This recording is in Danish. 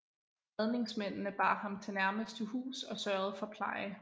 Redningsmændene bar ham til nærmeste hus og sørgede for pleje